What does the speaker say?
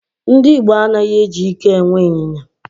Ndị Igbo anaghị eji ike e nwe ịnyịnya.